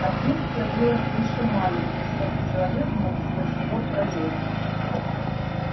отверстие было слишком маленьким чтобы человек мог сквозь него пролезть